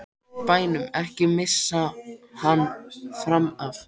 BÆNUM, EKKI MISSA HANN FRAM AF!